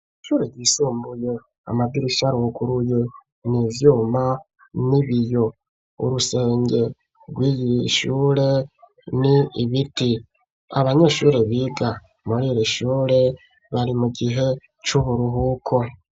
Ishure ryisumbuye amadirisha aruguruye n’ivyuma n'ibiyo urusenge rw'iyishure ni ibiti abanyeshuri biga muriri shure bari mu gihe c'uburuhuko.